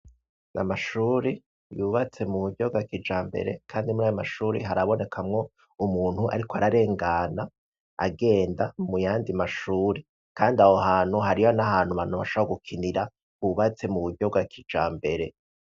Ya mashuri yubatse mu buryo bwa kijambere kandi muri ayo mashuri haraboneka mwo umuntu ariko ararengana, agenda mu yandi mashuri. Kandi aho hantu hariho n'ahantu abantu bashobora gukinira, hubatse mu buryo bwa kijambere.